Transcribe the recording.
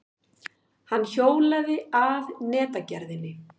Hann hjólaði að netagerðinni.